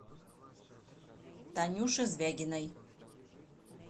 танюше звягиной